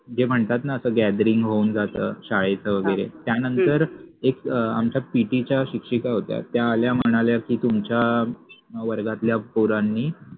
ते म्हणतात न आता गॅद्रिंग होऊन जात शाळेच वगेरे त्यानंतर एक आमच्या PT च्या शिक्षिका त्या आल्या म्हणाल्या कि त्युमच्या वर्गातल्या पोरानि